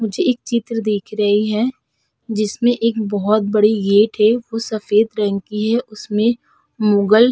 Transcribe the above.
मुझे एक चित्र दिख रही है जिसमें एक बहुत बड़ी गेट है वो सफ़ेद रंग की है उसमे मुग़ल --